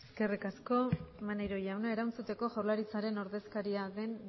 eskerrik asko maneiro jauna erantzuteko jaurlaritzaren ordezkaria den